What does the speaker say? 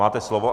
Máte slovo.